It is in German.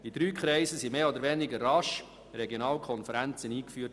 In drei Kreisen wurden mehr oder weniger rasch Regionalkonferenzen eingeführt: